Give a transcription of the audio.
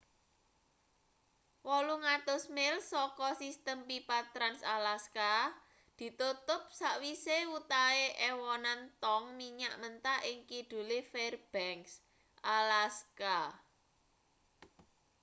800 mil saka sistem pipa trans-alaska ditutup sakwise wutahe ewonan tong minyak mentah ing kidule fairbanks alaska